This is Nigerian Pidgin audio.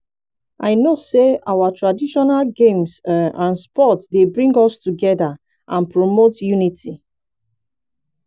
i know say our traditional games um and sports dey bring us together and promote unity.